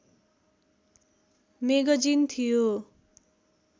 magazine थियो